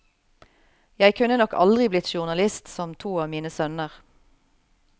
Jeg kunne nok aldri blitt journalist som to av mine sønner.